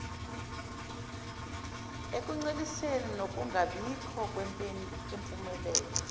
ekunceliseni nokungabikho kwempumelelo